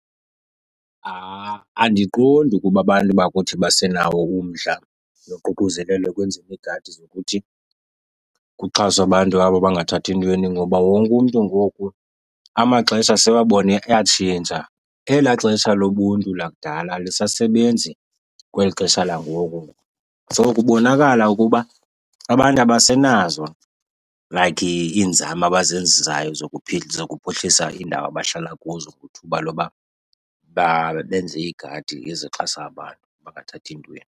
Andiqondi ukuba abantu bakuthi basenawo umdla noququzelelo ekwenzeni iigadi zokuthi kuxhaswe abantu abo bangathathi ntweni ngoba wonke umntu ngoku amaxesha sebabona atshintsha. Elaa xesha lobuntu lakudala alisasebenzi kweli xesha langoku. So kubonakala ukuba abantu abasenazo like iinzame abazenzayo zokuphuhlisa iindawo abahlala kuzo kuthuba loba benze iigadi ezixhasa abantu abangathathi ntweni.